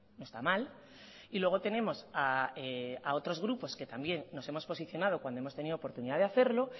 no está mal y luego tenemos a otros grupos que también nos hemos posicionado cuando hemos tenido oportunidad de hacerlo